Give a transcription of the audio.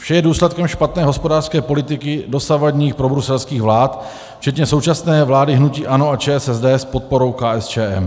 Vše je důsledkem špatné hospodářské politiky dosavadních probruselských vlád, včetně současné vlády hnutí ANO a ČSSD s podporou KSČM.